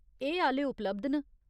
एह् आह्‌ले उपलब्ध न।